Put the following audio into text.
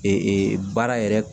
baara yɛrɛ